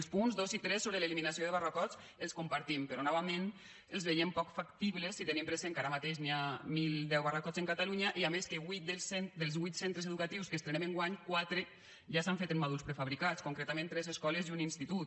els punts dos i tres sobre l’eliminació de barracots els compartim però novament els veiem poc factibles si tenim present que ara mateix hi ha mil deu barracots en catalunya i a més que dels vuit centres educatius que estrenem enguany quatre ja s’han fet en mòduls prefabricats concretament tres escoles i un institut